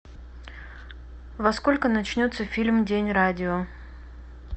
во сколько начнется фильм день радио